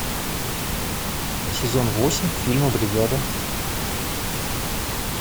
сезон восемь фильма бригада